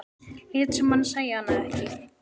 Lét sem hann sæi hana ekki.